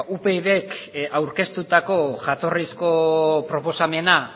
upydk aurkeztutako jatorrizko proposamena